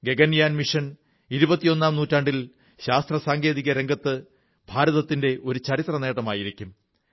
Gaganyaan mission ഇരുപത്തിയൊന്നാം നൂറ്റാണ്ടിൽ ശാസ്ത്രസാങ്കേതിക രംഗത്ത് ഭാരതത്തിന്റെ ഒരു ചരിത്ര നേട്ടമായിരിക്കും